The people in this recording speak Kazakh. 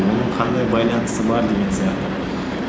оның қандай байланысы бар деген сияқты